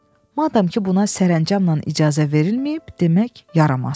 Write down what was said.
Madam ki, buna sərəncamla icazə verilməyib, demək yaramaz.